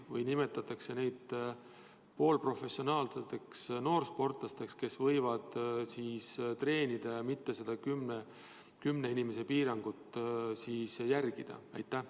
Või nimetatakse neid poolprofessionaalseteks noorsportlasteks, kes võivad treenida ja mitte seda kümne inimese piirangut järgida?